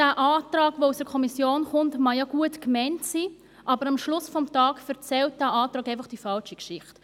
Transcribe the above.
Der Antrag, der aus der Kommission kommt, mag ja gut gemeint sein, aber am Ende des Tages erzählt dieser Antrag einfach die falsche Geschichte.